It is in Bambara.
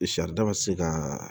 Saridaba ma se ka